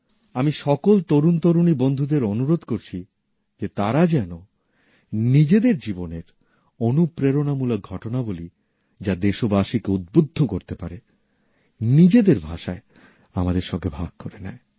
আমি সকল তরুণতরুণী বন্ধুদের অনুরোধ করছি যে তারা যেন নিজেদের জীবনের অনুপ্রেরণামূলক ঘটনাবলী যা দেশবাসীকে উদ্বুদ্ধ করতে পারে নিজেদের ভাষায় আমাদের সঙ্গে ভাগ করে নেয়